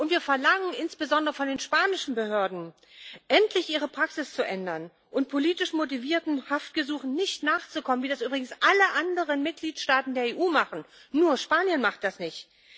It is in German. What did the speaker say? Wir verlangen insbesondere von den spanischen Behörden, endlich ihre Praxis zu ändern und politisch motivierten Haftgesuchen nicht nachzukommen, wie das übrigens alle anderen Mitgliedstaaten der EU machen nur Spanien macht das nicht.